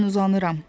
Mən uzanıram.